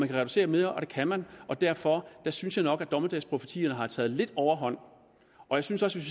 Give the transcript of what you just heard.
kan reducere mere og det kan man derfor synes jeg nok at dommedagsprofetierne har taget lidt overhånd og jeg synes også